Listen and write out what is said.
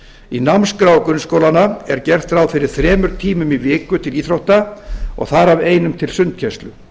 í námskrá grunnskólanna er gert ráð fyrir þremur tímum í viku til íþrótta og þar af einum til sundkennslu